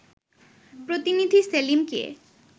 প্রতিনিধি সেলিমকে